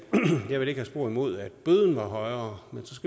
have spor imod at bøden var højere hvis